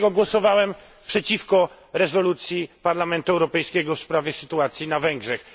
Dlaczego głosowałem przeciwko rezolucji Parlamentu Europejskiego w sprawie sytuacji na Węgrzech?